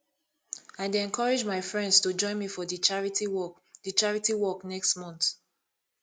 i dey encourage my friends to join me for di charity walk di charity walk next month